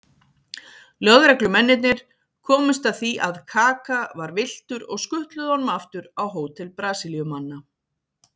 Lögreglumennirnir komust að því að Kaka var villtur og skutluðu honum aftur á hótel Brasilíumanna.